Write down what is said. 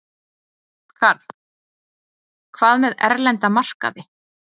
Karl: Hvað með erlenda markaði?